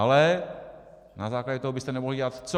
Ale - na základě toho byste nemohli dělat co?